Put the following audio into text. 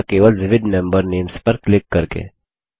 या केवल विविध मेम्बर नेम्स पर क्लिक करके